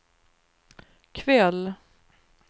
kväll